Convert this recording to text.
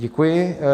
Děkuji.